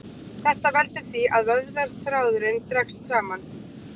Þetta veldur því að vöðvaþráðurinn dregst saman.